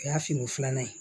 O y'a fini filanan ye